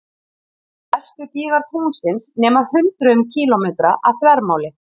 Stærstu gígar tunglsins nema hundruðum kílómetra að þvermáli.